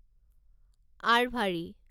আৰভাৰী